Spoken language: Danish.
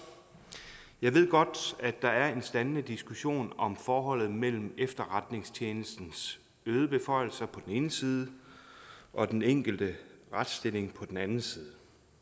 jeg ved godt at der er en standende diskussion om forholdet mellem efterretningstjenestens øgede beføjelser på den ene side og den enkelte retsstilling på den anden side